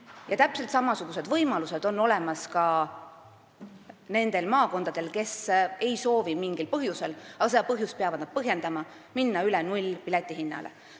Ja täpselt samasugused võimalused on olemas ka nendel maakondadel, kes ei soovi mingil põhjusel – aga seda põhjust peavad nad põhjendama – minna üle nullhinnaga piletitele.